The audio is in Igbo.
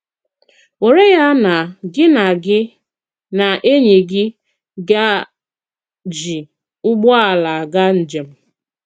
Wèrè ya na gị na gị na ènỳí gị gà-jí ụgbọ̀àlà àgà njem.